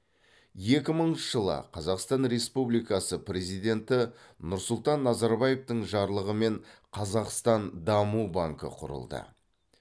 екі мыңыншы жылы қазақстан республикасы президенті нұрсұлтан назарбаевтың жарлығымен қазақстан даму банкі құрылды